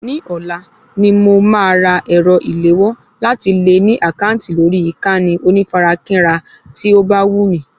Ní ọ̀la ni mo máa ra ẹ̀rọ ìléwọ́ láti lè ní àkáǹtì lórí ìkànnì onífarakínra tí ó bá wù mí